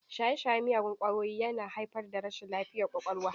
Shaye-shayen miyagun ƙwayoyi yana haifar da rashin lafiyar ƙwaƙwalwa.